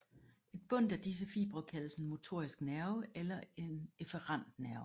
Et bundt af disse fibre kaldes en motorisk nerve eller en efferent nerve